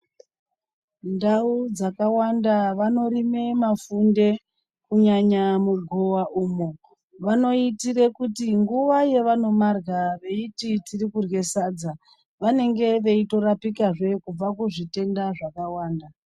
Ndau dzakawanda vanorima mafunde kunyanya mugowa umo vanoitira kuti nguwa yavanomarya veiti tiri kurya sadza vanenge veitorapika zvekubva kuzvitenda zvakawanda.